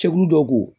Cɛkulu dɔ ko